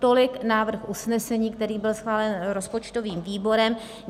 Tolik návrh usnesení, který byl schválen rozpočtovým výborem.